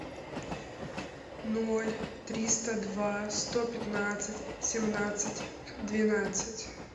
ноль триста два сто пятнадцать семнадцать двенадцать